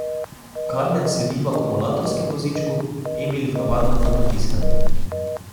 Karmen sedi v akumulatorskem vozičku, Emil v navadnem na potiskanje.